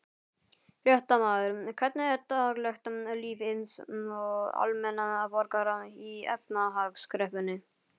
Fréttamaður: Hvernig er daglegt líf hins almenna borgara í efnahagskreppunni?